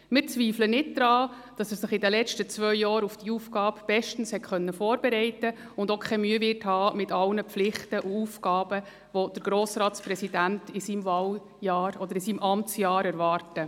Wir zweifeln nicht daran, dass er sich in den letzten zwei Jahren bestens auf die neue Aufgabe vorbereiten konnte und auch keine Mühe haben wird mit all den Pflichten und Aufgaben, die den Grossratspräsidenten in seinem Amtsjahr erwarten.